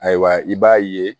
Ayiwa i b'a ye